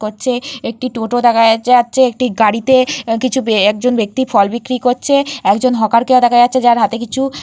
করছে একটি টোটো দেখা যাচ্ছে। একজন গাড়িতে উম কিছু বে একজন ব্যক্তি ফল বিক্রি করছে। একজন হকার কেও দেখা যাচ্ছে তার হাতে কিছু--